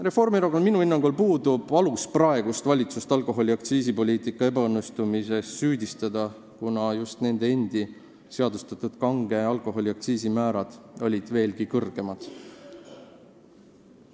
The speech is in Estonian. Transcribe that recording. Reformierakonnal puudub minu hinnangul alus praegust valitsust alkoholiaktsiisipoliitika ebaõnnestumises süüdistada, kuna just nende endi seadustatud kange alkoholi aktsiisimäärad olid veelgi kõrgemad.